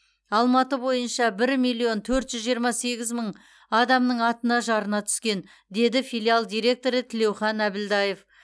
алматы бойынша бір миллион төрт жүз жиырма сегіз мың адамның атына жарна түскен деді филиал директоры тілеухан әбілдаев